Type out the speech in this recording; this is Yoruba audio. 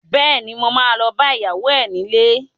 Bẹ́ẹ̀ni, mo ma lọ bá ìyàwó ẹ nílé